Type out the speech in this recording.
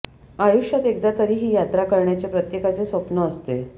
आयुष्यात एकदा तरी ही यात्रा करण्याचे प्रत्येकाचे स्वप्न असते